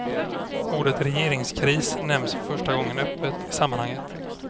Ordet regeringskris nämns för första gången öppet i sammanhanget.